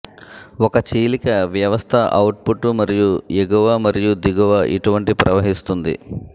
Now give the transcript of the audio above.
ఒక చీలిక వ్యవస్థ అవుట్పుట్ మరియు ఎగువ మరియు దిగువ ఇటువంటి ప్రవహిస్తుంది